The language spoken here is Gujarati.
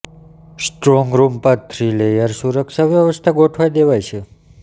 સ્ટ્રોંગ રૂમ પર થ્રી લેયર સુરક્ષા વ્યવસ્થા ગોઠવી દેવાઈ છે